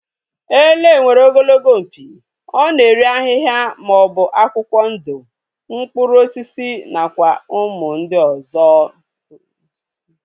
Ele nwere ogologo mpi, ọ na-eri ahịhịa maọbụ akwụkwọ ndụ, mkpụrụ osisi nakwa ụmụ osisi